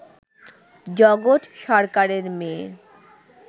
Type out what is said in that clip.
জগৎ সরকারের মেয়ে